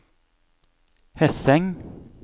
Hesseng